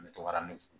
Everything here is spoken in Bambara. N bɛ tora ne